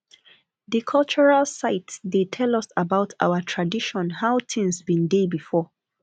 di cultural site dey tell us about our tradition how tins bin dey before